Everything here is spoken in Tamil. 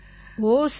ஓ சரி சரி